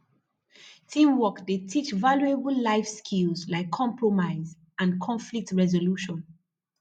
teamwork dey teach valuable life skills like compromise and conflict resolution